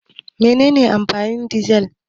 Mene ne amfanin dizal?